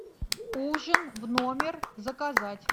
ужин в номер заказать